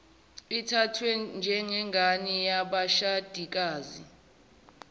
ithathwe njengengane yabashadikazi